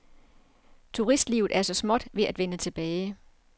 Turistlivet er så småt ved at vende tilbage.